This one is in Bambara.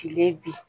Kile bin